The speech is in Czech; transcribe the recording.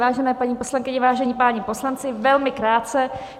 Vážené paní poslankyně, vážení páni poslanci, velmi krátce.